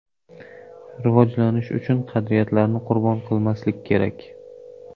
rivojlanish uchun qadriyatlarni qurbon qilmaslik kerak.